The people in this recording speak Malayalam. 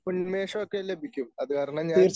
ഉന്മേഷം ഒക്കെ ലഭിക്കും. അതുകാരണം ഞാൻ